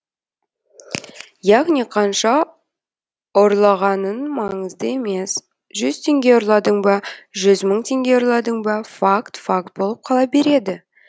яғни қанша ұрлағаның маңызды емес жүз теңге ұрладың ба жүз мың теңге ұрладың ба факт факт болып қала береді